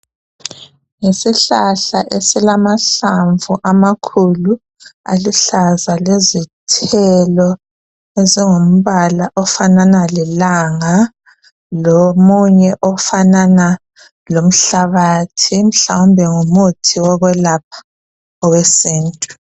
Yisihlahla esilamahlamvu amakhulu aluhlaza lezithelo ezingumbala ofanana lelanga lomunye ofanana lomhlabathi mhlawumbe ngumuthi wokwelapha owesintu.